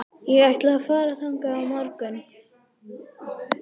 Ég ætla að fara þangað á morgun.